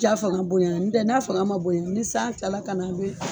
Ja fanga boyana un tɛ n'a fanga ma bonya ni san kila la ka na a be